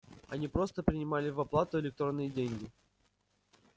они просто принимали в оплату электронные деньги